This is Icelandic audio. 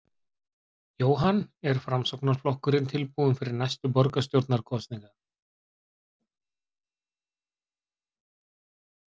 Jóhann: Er Framsóknarflokkurinn tilbúinn fyrir næstu borgarstjórnarkosningar?